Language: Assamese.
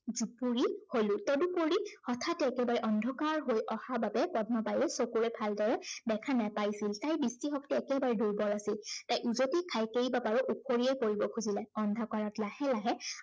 জুপুৰি হলো। তদুপৰি হঠাত একেবাৰে অন্ধকাৰ হৈ অহা বাবে পদ্মাবাইয়ে চকুৰে ভালদৰে দেখা নাপাইছিল। তাইৰ দৃষ্টি শক্তি একেবাৰে দুৰ্বল আছিল। তাই উজটি খাই কেইবাবাৰো উফৰিয়েই পৰিব খুজিলে। অন্ধকাৰত লাহে লাহে